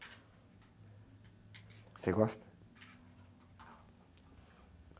Você gosta?